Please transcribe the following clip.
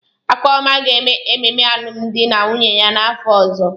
Akụọma ga-eme ememe alụmdi na nwunye ya n'afọ ọzọ.